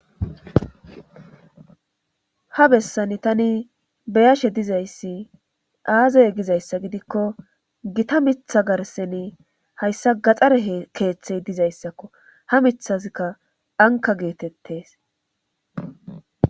ha bessani tani beyashe dizayssi aazay gizayssa gidikko gita mitha garseni hayssa gaxare keeththey dizayssakko ha mithazikka anka geetettes